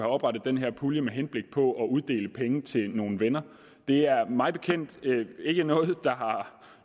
oprettet den her pulje med henblik på at uddele penge til nogle venner det er mig bekendt ikke noget der har